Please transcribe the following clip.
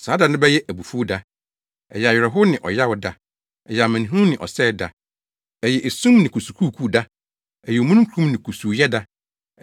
Saa da no bɛyɛ abufuw da, ɛyɛ ahoyeraw ne ɔyaw da; ɛyɛ amanehunu ne ɔsɛe da, ɛyɛ esum ne kusukuukuu da ɛyɛ omununkum ne kusuuyɛ da,